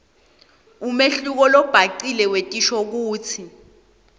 umehluko lobhacile wetinshokutsi